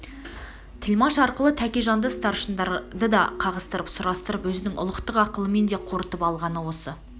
тілмаш арқылы тәкежанды старшындарды да қағыстырып сұрастырып өзінің ұлықтық ақылымен де қорытып алғаны осы